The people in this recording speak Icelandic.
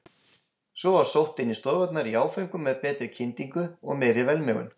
Svo var sótt inn í stofurnar í áföngum með betri kyndingu og meiri velmegun.